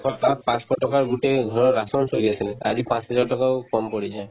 একপ্তাহ পাঁচশ টকাৰ গোটেই ঘৰৰ ration চলি আছিলে আজি পাঁচ দিনৰ টকাও কম পৰি যায়